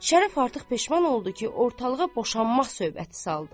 Şərəf artıq peşman oldu ki, ortalığa boşanmaq söhbəti saldı.